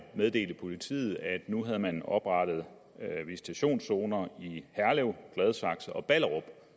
meddelte politiet at nu havde man oprettet visitationszoner i herlev gladsaxe og ballerup